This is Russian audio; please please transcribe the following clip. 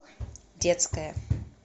детская